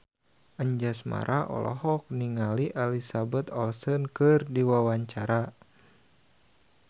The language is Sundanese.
Anjasmara olohok ningali Elizabeth Olsen keur diwawancara